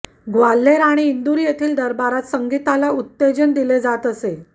ग्वाल्हेर आणि इंदूर येथील दरबारात संगीताला उत्तेजन दिले जात असे